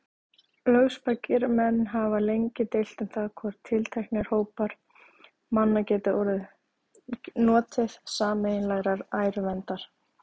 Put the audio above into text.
Lögspakir menn hafa lengi deilt um það, hvort tilteknir hópar manna geti notið sameiginlegrar æruverndar.